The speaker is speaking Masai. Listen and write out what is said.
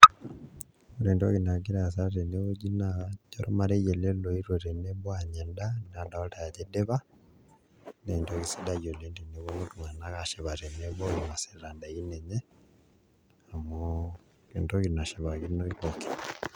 Ore entoki nagira aasa tenewueji nadolta ajo ormarei ele oetuo tenebo aanya endaa nadalita ajo idipa naa entoki sidai oleng' teneponu iltung'anak aashipa tenebo inasita ndaikin enye amu entoki nashipakino pookin.